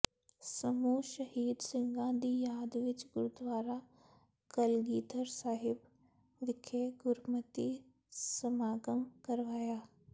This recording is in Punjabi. ਸਮੂਹ ਸ਼ਹੀਦ ਸਿੰਘਾਂ ਦੀ ਯਾਦ ਵਿਚ ਗੁਰਦੁਆਰਾ ਕਲਗ਼ੀਧਰ ਸਾਹਿਬ ਵਿਖੇ ਗੁਰਮਤਿ ਸਮਾਗਮ ਕਰਵਾਇਆ